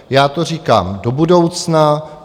Já to říkám do budoucna.